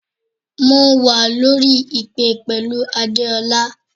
Mo wà lórí ìpè pẹ̀lú Adeola.